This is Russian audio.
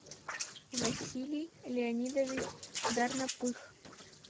василий леонидович дарнопых